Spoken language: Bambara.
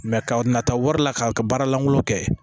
ka na taa wari la k'a ka baara lankolon kɛ